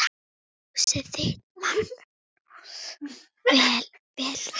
Ljósið þitt, Markús Leví.